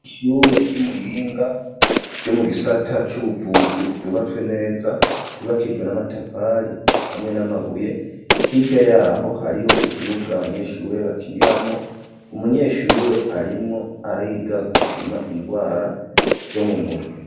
Ishure ry'Imuyinga ryo mu gisata c'ubuvuzi ryubatswe neza, ryubakishijwe n'amatafari hamwe n'amabuye ,hirya yaho hariho ikibuga abanyeshure bakiniramwo, umunyeshure arimwo ariga gupima indwara zo mu mutwe.